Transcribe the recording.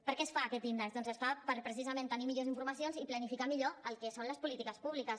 per què es fa aquest índex doncs es fa per precisament tenir millors informacions i planificar millor el que són les polítiques públiques